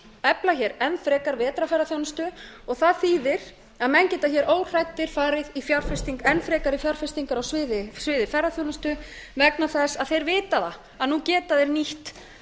efla hér enn frekar vetrarferðaþjónustu og það þýðir að menn geta hér óhræddir farið í enn frekari fjárfestingar á sviði ferðaþjónustu vegna þess að þeir vita að nú geta þeir nýtt